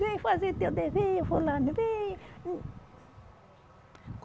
Vem fazer teu dever, fulano, vem.